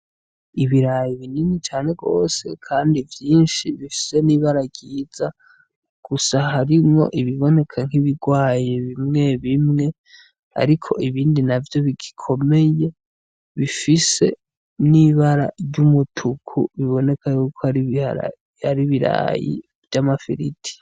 Ibiraya binini cane gose kandi vyinshi , bifise n’ibara ryiza gusa harimwo ibiboneka nk’ibirwaye bimwe bimwe ariko ibindi navyo bigikomeye bifise n’ibara ry’umutuku biboneka kw’ari ibiraya vy’amafiriti.